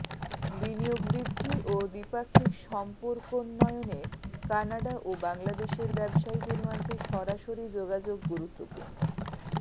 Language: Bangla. বিনিয়োগ বৃদ্ধি ও দ্বিপাক্ষিক সম্পর্কোন্নয়নে কানাডা ও বাংলাদেশের ব্যবসায়ীদের মাঝে সরাসরি যোগাযোগ গুরুত্বপূর্ণ